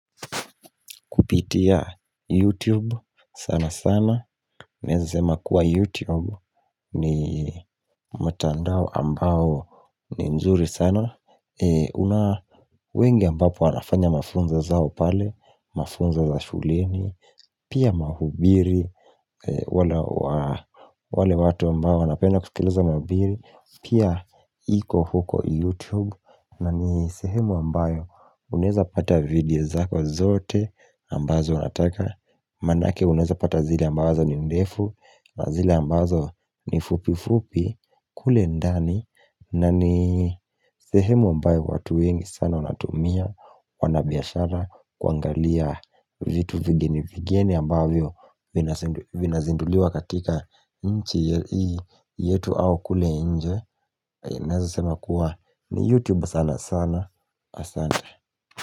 Kupitia YouTube sana sana naeza sema kuwa YouTube ni mtandao ambao ni nzuri sana una wengi ambao pia wanafanya mafunzo zao pale, mafunzo za shuleni, pia mahubiri wale watu ambao wanapenda kusikilza mahubiri pia iko huko YouTube, na ni sehemu ambayo unaeza pata video zako zote ambazo unataka manake unaeza pata zile ambazo ni ndefu na zile ambazo ni fupi fupi kule ndani na ni sehemu ambayo watu wengi sana wanatumia wanabiashara kuangalia vitu vigeni vigeni ambavyo vinazinduliwa katika nchi hii yetu au kule nje naeza sema kuwa ni YouTube sana sana, asante.